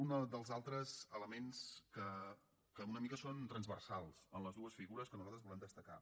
uns dels altres elements que una mica són transversals en les dues figures que nosaltres volem destacar